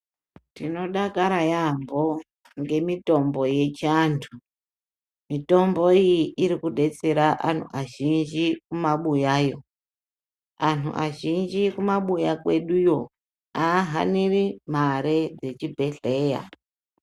Tinodakara yambo ngemitombo yechiantu. Mitombo iyi iri kudetsera anhu azhinji mumabuyayo. Antu azhinji kumabuya kweduyo ahaniri mare yechibhedhleya.